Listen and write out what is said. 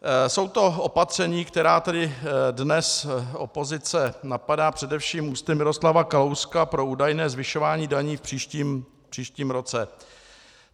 Jsou to opatření, která tady dnes opozice napadá, především ústy Miroslava Kalouska, pro údajné zvyšování daní v příštím roce.